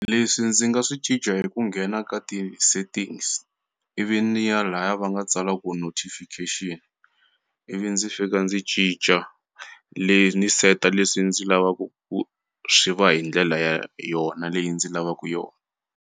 Leswi ndzi nga swi cinca hi ku nghena ka ti-settings ivi ni ya laya va nga tsala ku notifications ivi ndzi fika ndzi cinca le ni seta leswi ndzi lavaku ku swi va hi ndlela ya yona leyi ndzi lavaku yona.